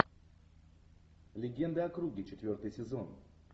легенды о круге четвертый сезон